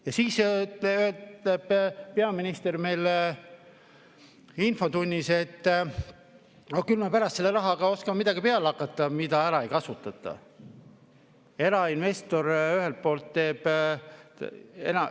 Ja siis ütleb peaminister meile infotunnis, et ah, küll me pärast oskame selle rahaga, mida ära ei kasutata, midagi peale hakata.